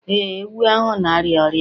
Ee, ewu ahụ na-arịa ọrịa